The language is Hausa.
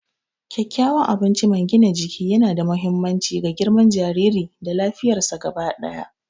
Kyakkyawan abinci mai gina jiki yana da mahimmanci ga girman jariri da lafiyarsa gaba ɗaya.